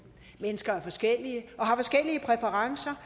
mennesker er forskellige og har forskellige præferencer